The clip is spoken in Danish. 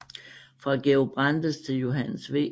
Fra Georg Brandes til Johannes V